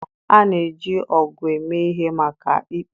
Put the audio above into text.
A na-eji ọgụ eme ihe maka ikpo.